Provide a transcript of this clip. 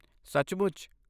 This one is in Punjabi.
ਸੱਚਮੁੱਚ!?